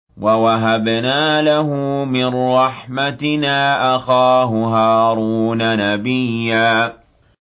وَوَهَبْنَا لَهُ مِن رَّحْمَتِنَا أَخَاهُ هَارُونَ نَبِيًّا